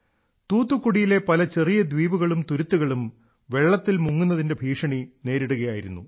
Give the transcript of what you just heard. തൂത്തുക്കുടിയിലെ പല ചെറിയ ദ്വീപുകളും തുരുത്തുകളും വെള്ളത്തിൽ മുങ്ങുന്നതിന്റെ ഭീഷണി നേരിടുകയായിരുന്നു